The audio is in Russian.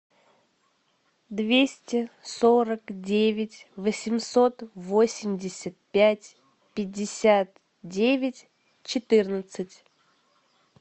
двести сорок девять восемьсот восемьдесят пять пятьдесят девять четырнадцать